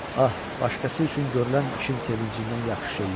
Ah, başqası üçün görülən işin sevincindən yaxşı şey yoxdur.